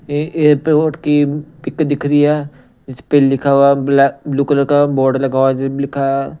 यह एयरपोर्ट की पिक दिख रही है इस पे लिखा हुआ ब्लैक ब्लू कलर का बोर्ड लगा हुआ लिखा है।